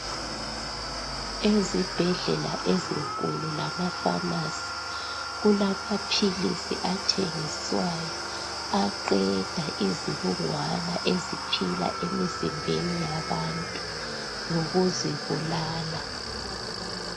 Ezibhedlela ezinkulu lamafamasi kulamaphilisi athengiswayo. Aqeda izibungwana eziphila emizimbeni yabantu ngokuzibulala.